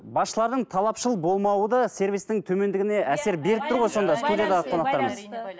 басшылардың талапшыл болмауы да сервистің төмендігіне әсер беріп тұр ғой сонда студиядағы қонақтарымыз